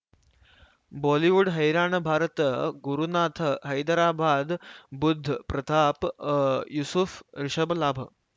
Bollywood ಹೈರಾಣ ಭಾರತ ಗುರುನಾಥ ಹೈದರಾಬಾದ್ ಬುಧ್ ಪ್ರತಾಪ್ ಅ ಯೂಸುಫ್ ರಿಷಬ್ ಲಾಭ್